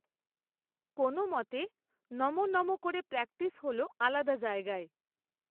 কোনও মতে নমঃ নমঃ করে প্র্যাকটিস হল, আলাদা জায়গায়